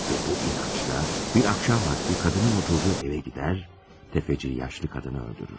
Və bu inancda, bir axşam vaxtı qadının oturduğu evə gedər, tefeci yaşlı qadını öldürür.